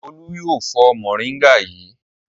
Olú yóò fọ mòríngà yìí!